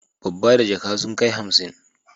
Babba da jaka sun kai hansi.